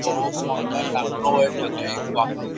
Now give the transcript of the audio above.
বড়ো পাল্লার লাগানো হয়ে থাকে। এই পাখাগুলো --